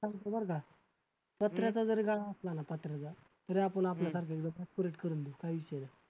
चालतंय बरं का पत्र्याचा जरी गाळा असला ना पत्र्याचा तरी आपण आपल्यासारख्या त्याला facility करून देऊ काय विषय नाही.